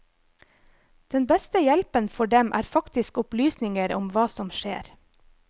Den beste hjelpen for dem er faktisk opplysninger om hva som skjer.